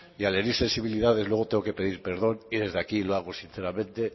y al herir sensibilidades luego tengo que pedir perdón y desde aquí lo hago sinceramente